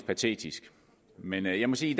patetisk men jeg må sige